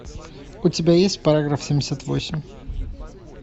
у тебя есть параграф семьдесят восемь